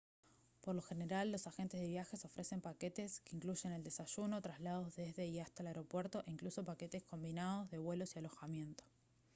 por lo general los agentes de viajes ofrecen paquetes que incluyen el desayuno traslados desde y hasta el aeropuerto e incluso paquetes combinados de vuelos y alojamiento